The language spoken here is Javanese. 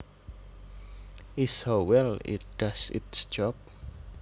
is how well it does its job